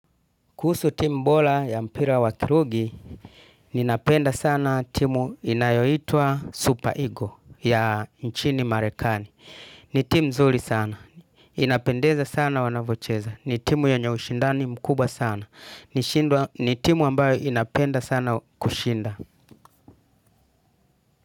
Kuhusu timu bola ya mpira wa kirugi, ninapenda sana timu inayoitwa Super Eagle ya nchini Marekani. Ni timu nzuri sana. Inapendeza sana wanavocheza. Ni timu yenye ushindani mkubwa sana. Ni timu ambayo inapenda sana kushinda.